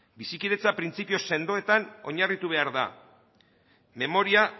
bizikidetza printzipio sendoetan oinarritu behar da memoria